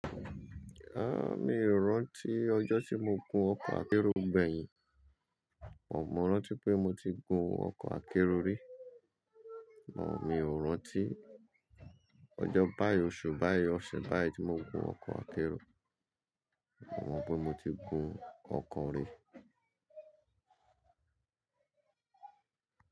Ah! Mi o rántí ọjọ́ tí mo gun ọkọ̀ akérò gbẹ̀yìn, mo mọ rántí pé mo ti gun ọkọ̀ akérò rí, mo mi o rántí ọjọ́ báýìí oṣù, báýìí ọ̀sẹ̀, báýìí tí mo gun ọkọ̀ akérò, mo mọ pé mo ti gun ọkọ̀ rí.